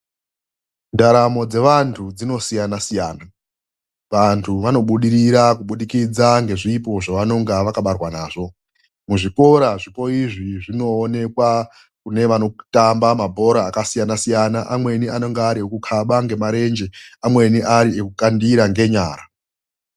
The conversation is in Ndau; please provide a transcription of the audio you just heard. Ndaramo dzevantu dzinosiyana-siyana, vantu vanobudirira kubudikidza ngezvipo zvavanonga vakabarwa nazvo. Muzvikora zvipo izvi zvinoonekwa kune vanotamba mabhora akasiyana-siyana, amweni anenge ari ekukaba ngemarenje amweni ari ekukandira ngenyara.